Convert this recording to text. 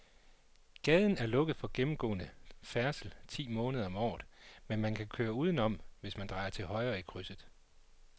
Gaden er lukket for gennemgående færdsel ti måneder om året, men man kan køre udenom, hvis man drejer til højre i krydset.